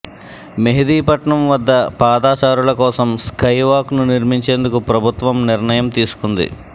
మెహిదీపట్నం వద్ద పాదాచారుల కోసం స్కై వాక్ను నిర్మించేందుకు ప్రభుత్వం నిర్ణయం తీసుకుంది